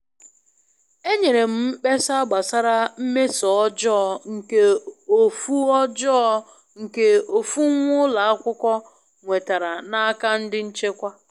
Enyere m mkpesa gbasara mmeso ọjọọ nke ofu ọjọọ nke ofu nwa ulo akwukwọ nwetara n'aka ndi nchekwa.